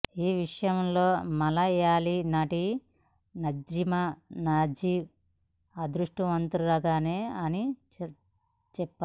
ఈ విషయంలో మళయాళి నటి నజ్రిమా నజిమ్ అదృష్టవంతురాలే అని చెప్పాలి